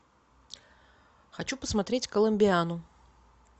хочу посмотреть коломбиану